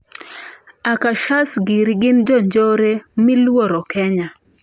Akashas giri gin jonjore miluoro Kenya.